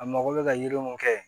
A mago bɛ ka yiri mun kɛ